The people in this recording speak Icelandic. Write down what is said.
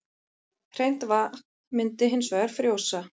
Hreint vatn myndi hins vegar frjósa.